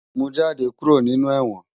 Mú jàdé kúró ninú èwòn